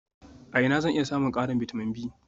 A ina zan iya samun ƙarin bitamin B?